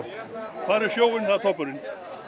fara í sjóinn það er toppurinn